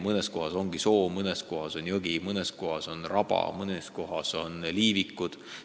Mõnes kohas on soo ja mõnes kohas on jõgi, mõnes kohas on raba, mõnes kohas on liivikud.